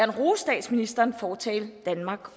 rose statsministeren for at tale danmark